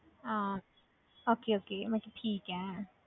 ਹਾਂ okay okay ਮੈਂ ਕਿਹਾ ਠੀਕ ਹੈ।